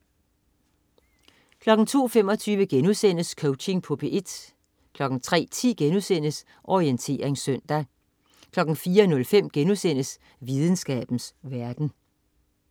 02.25 Coaching på P1* 03.10 Orientering søndag* 04.05 Videnskabens verden*